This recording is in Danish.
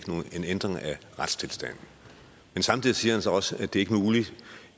ændring af retstilstanden men samtidig siger han så også at det